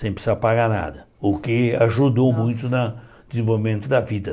sem precisar pagar nada, o que ajudou muito na desenvolvimento da vida.